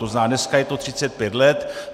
To znamená, dneska je to 35 let.